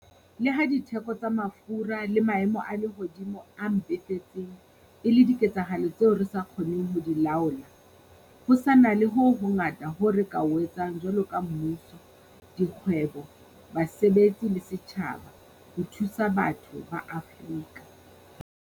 Le ha ditheko tsa mafura le maemo a lehodimo a mpefetseng e le diketsahalo tseo re sa kgoneng ho di laola, ho sa na le ho hongata hoo re ka ho etsang, jwaloka mmuso, dikgwebo, basebetsi le setjhaba, ho thusa batho ba Afrika